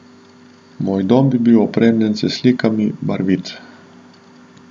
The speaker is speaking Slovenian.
Moj dom bi bil opremljen s slikami, barvit.